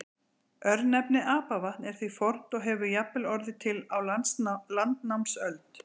Örnefnið Apavatn er því fornt og hefur jafnvel orðið til á landnámsöld.